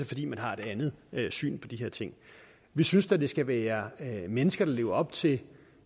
fordi vi har et andet syn på de her ting vi synes da det skal være mennesker der lever op til